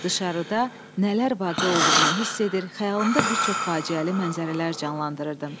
Dışarıda nələr vaqe olduğunu hiss edir, xəyalımda bir çox faciəli mənzərələr canlandırırdım.